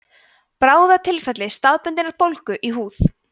bráðatilfelli staðbundinnar bólgu í húð